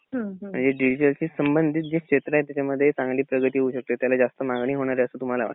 म्हणजे डिजिटलशी संबंधित जे क्षेत्र आहेत त्याच्यामध्ये चांगली प्रगती होऊ शकते त्याला जास्त मांगणी होणार आहे असं तुम्हाला वाटतंय